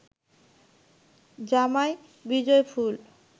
জামায় বিজয়ফুল